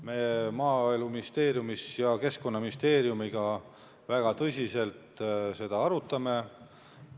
Me Maaeluministeeriumis arutame seda väga tõsiselt ka Keskkonnaministeeriumiga.